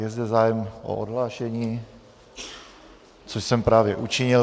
Je zde zájem o odhlášení, což jsem právě učinil.